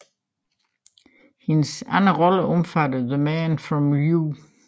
Hendes andre roller omfatter The Man from U